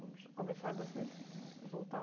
Vamos começar da sua in, voltar um